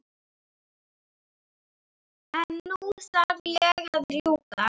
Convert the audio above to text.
En nú þarf ég að rjúka.